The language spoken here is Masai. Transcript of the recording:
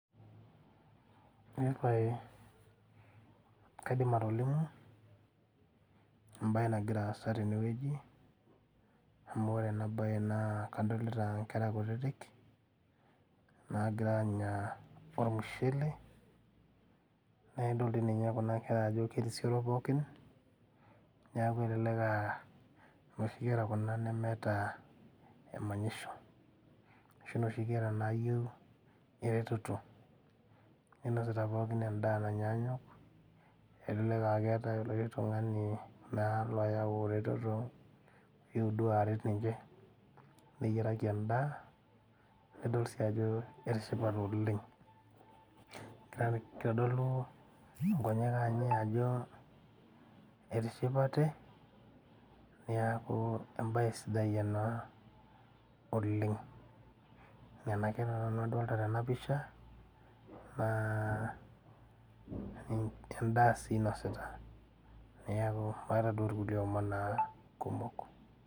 Eepae kaidim atolimu embaye nagira aasa tenewueji amu ore ena baye naa kadolita inkera kutitik naagira anya ormushele naidol dii ninye kuna kera ajo kerisioro pookin niaku elelek aa inoshi kera kuna nemeeta emanyisho ashu inoshi kera nayieu eretoto neinosita pookin endaa nanyaanyuk elelek aa keeta orkiti tung'ani naa loyau eretoto oyewuo duo aret ninche neyiaraki endaa naidol sii ajo etishipate oleng egira kitodolu inkonyek anye ajo etishipate niaku embaye sidai ena oleng nena kera nanu adolta tena pisha naa endaa sii inosita niaku maata duo irkulie omon naa kumok.